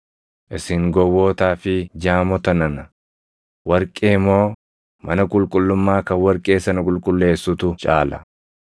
Isin gowwootaa fi jaamota nana, warqee moo mana qulqullummaa kan warqee sana qulqulleessutu caala?